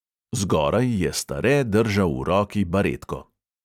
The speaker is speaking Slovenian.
Zgoraj je stare držal v roki baretko.